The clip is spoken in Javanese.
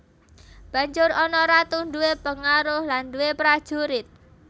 Banjur ana Ratu duwé pengaruh lan duwé prajurit